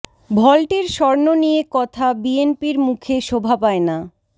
ভল্টের স্বর্ণ নিয়ে কথা বিএনপির মুখে শোভা পায় না